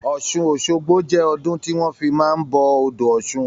Ọ̀sun Osogbo jẹ́ ọdún tí wọn fi máa ń bọ odò ọ̀sun